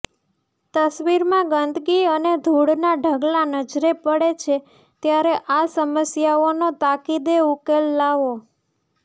તસ્વીરમાં ગંદકી અને ધુળનાં ઢગલાં નજરે પડે છે ત્યારે આ સમસ્યાઓનો તાકીદે ઉકેલ લાવો